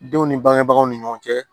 Denw ni bangebagaw ni ɲɔgɔn cɛ